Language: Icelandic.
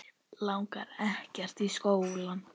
Langar ekkert í skóla.